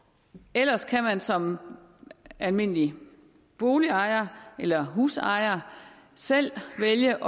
ellers kan man som almindelig boligejer eller husejer selv vælge